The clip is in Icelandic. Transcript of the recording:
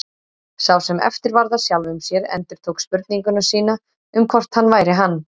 Sá sem eftir varð af sjálfum sér endurtók spurningu sína um hvort hann væri hann.